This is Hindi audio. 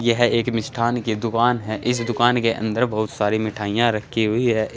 यह एक मिष्ठान की दुकान है इस दुकान के अंदर बहुत सारी मिठाइयां रखी हुई है इ--